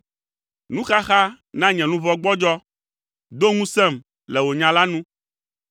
Nuxaxa na nye luʋɔ gbɔdzɔ; do ŋusẽm le wò nya la nu.